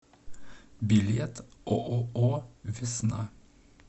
билет ооо весна